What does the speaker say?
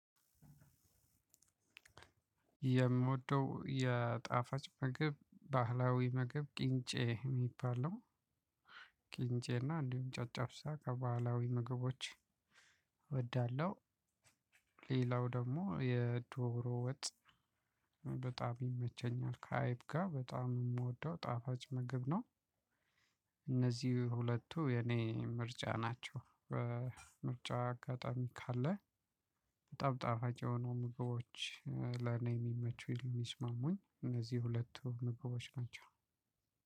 የምወደው የጣፋጭ ምግብ ባህላዊ ምግብ ቅንጬ የሚባል ነው ቂንጬ እና እንዲሁም ጨጨብሳ ከባህላዊ ምግቦች እወዳለሁ። ሌላው ደግሞ የዶሮ ወጥ። በጣም ይመቸኛል ከአይብ ጋር በጣም የምወደው ጣፋጭ ምግብ ነው። እነዚህ ሁለቱ የኔ ምርጫ ናቸው። ምርጫ አጋጣሚ ካለ ጠብጣፋች የሆኑ ምግቦች ለኔ የሚመቹ የሚስማሙኝ እነዚህ ሁለቱ ምግቦች ናቸው።